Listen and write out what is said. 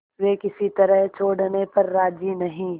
वे किसी तरह छोड़ने पर राजी नहीं